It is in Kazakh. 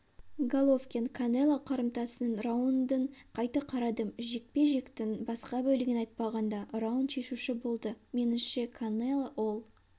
головкин канело қарымтасының раундын қайта қарадым жекпе-жектің басқа бөлігін айтпағанда раунд шешуші болды меніңше канело ол